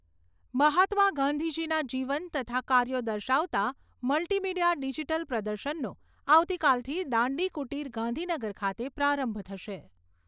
મહાત્મા ગાંધીજીના જીવન તથા કાર્યો દર્શાવતા મલ્ટીમીડીયા ડીજીટલ પ્રદર્શનનો આવતીકાલથી દાંડી કુટીર ગાંધીનગર ખાતે પ્રારંભ થશે.